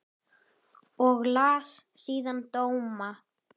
Og las síðan dóma.